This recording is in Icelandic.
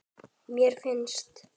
Mér finnst.